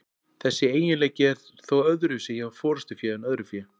Þessi eiginleiki er þó öðruvísi hjá forystufé en öðru fé.